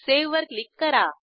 save वर click करा